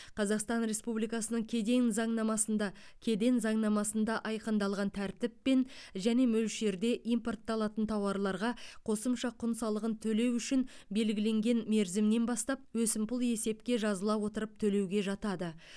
қазақстан республикасының кедең заңнамасында кеден заңнамасында айқындалған тәртіппен және мөлшерде импортталатын тауарларға қосымша құн салығын төлеу үшін белгіленген мерзімнен бастап өсімпұл есепке жазыла отырып төлеуге жатады